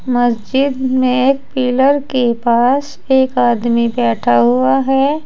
मस्जिद में एक पिलर के पास एक आदमी बैठा हुआ है।